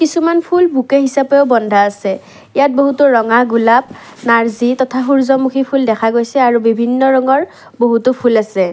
কিছুমান ফুল বুকেই হিচাপেও বন্ধা আছে ইয়াত বহুতো ৰঙা গুলাপ নাৰ্জী তথা সূৰ্য্যমুখী ফুল দেখা গৈছে আৰু বিভিন্ন ৰঙৰ বহুতো ফুল আছে।